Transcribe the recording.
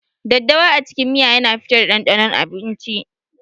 daddawa a cikin miya yana fitar da ɗanɗanon a abinci.